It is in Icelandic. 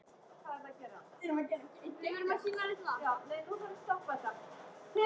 Þessa sögu þarf að skrifa.